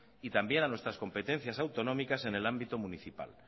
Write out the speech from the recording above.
y también a nuestras competencias autonómicas en el ámbito municipal